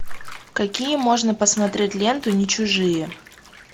какие можно посмотреть ленту не чужие